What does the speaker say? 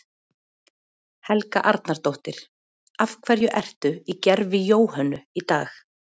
Helga Arnardóttir: Af hverju ertu í gervi Jóhönnu í dag?